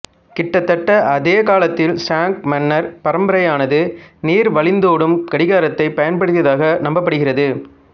கிட்டத்தட்ட அதே காலத்தில் ஷாங் மன்னர் பரம்பரையானது நீர் வழிந்தோடும் கடிகாரத்தைப் பயன்படுத்தியதாக நம்பப்படுகிறது